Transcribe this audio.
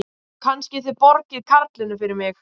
Kannski þið borgið karlinum fyrir mig.